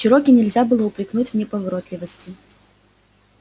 чероки нельзя было упрекнуть в неповоротливости